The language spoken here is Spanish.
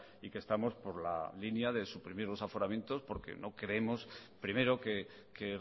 y que estamos por la línea de suprimir los aforamientos porque no creemos primero que